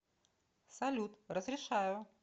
салют разрешаю